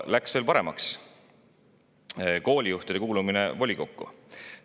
Läks veel "paremaks": koolijuhtide kuulumine volikokku.